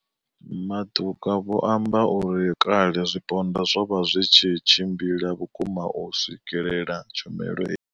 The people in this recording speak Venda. Matuka vho amba uri kale zwipondwa zwo vha zwi tshi tshimbila vhukuma u swikelela tshumelo he.